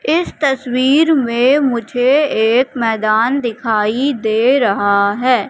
इस तस्वीर में मुझे एक मैदान दिखाई दे रहा है।